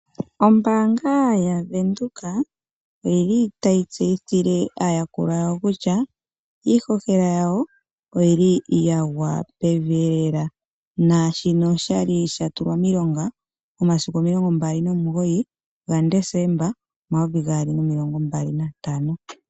Ombaanga yaVenduka oyili tayi tseyithile aayakulwa yawo kutya iihohela yawo oyili yagwa pevi lela, naashino osha li sha tulwa miilonga momasiku omilongo mbali nomugoyi ga nDesemba omayovi gaali nomilongo mbali nantano.